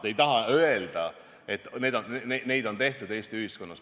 Te ei taha öelda, et neid on tehtud Eesti ühiskonnas.